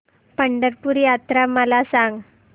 पंढरपूर यात्रा मला सांग